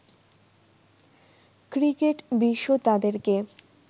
cricket বিশ্ব তাদেরকে